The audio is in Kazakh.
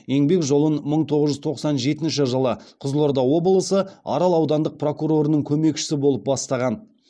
еңбек жолын мың тоғыз жүз тоқсан жетінші жылы қызылорда облысы арал аудандық прокурорының көмекшісі болып бастаған